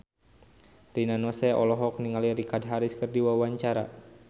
Rina Nose olohok ningali Richard Harris keur diwawancara